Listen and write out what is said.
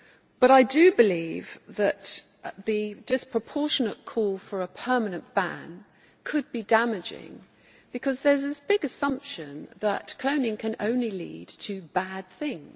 But I do believe that the disproportionate call for a permanent ban could be damaging, because there is this big assumption that cloning can only lead to bad things.